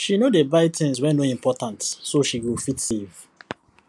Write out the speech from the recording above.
she no dey buy things wey no important so she go fit save